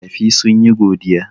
Makafi sun yi godiya.